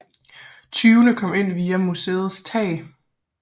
Tyvene kom ind via museets tag